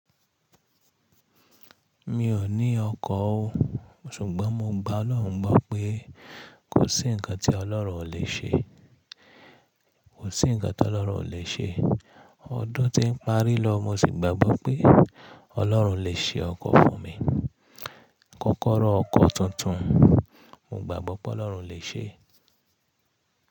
Mi ò ní ọkọ̀ o, ṣùgbọ́n mo gba Ọlọ́run mọ̀ pé kò sí ǹkan tí Ọlọ́run ò lè ṣe. Kò sí ǹkan tí Ọlọ́run ò lè ṣe. Ọdún tí ń parí lọ, mo ṣì gbàgbọ́ pé Ọlọ́run lè ṣe ọkọ̀ fún mi. Kọ́kọ́rọ́ ọkọ̀ tuntun mo gbàgbọ́ pé Ọlọ́run lè ṣe.